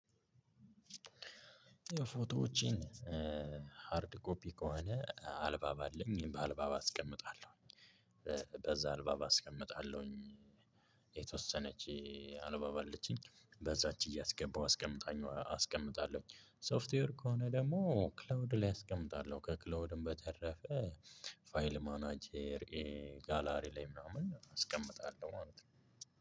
የፎቶዎቼን ሃርድ ኮፒ ከሆነ አልባብ አለኝ በአልባብ አስቀምጣለሁኝ። በዛ አልባባ አስቀምጣለሁኝ። የተወሰነች አልባባ አለቺኝ በዛች እያስገባሁ አስቀምጣኟ አስቀምጣለሁኝ። ሶፍትዌር ከሆነ ደግሞ ክላውድ ላይ አስቀምጣለሁ። ከክላውድም በተረፈ ፋይል ማናጀር ጋላሪ ላይ ምናምን አስቀምጣለሁ ማለት ነው።